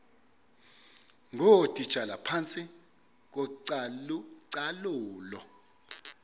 ngootitshala phantsi kocalucalulo